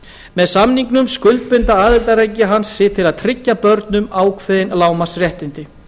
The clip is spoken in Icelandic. með samningnum skuldbinda aðildarríki hans sig til að tryggja börnum ákveðin lágmarksréttindi